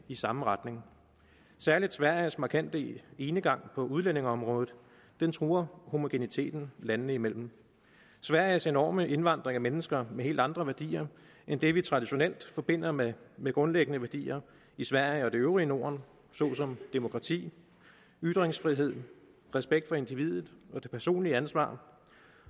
i samme retning særligt sveriges markante enegang på udlændingeområdet truer homogeniteten landene imellem sveriges enorme indvandring af mennesker med helt andre værdier end det vi traditionelt forbinder med med grundlæggende værdier i sverige og det øvrige norden såsom demokrati ytringsfrihed respekt for individet det personlige ansvar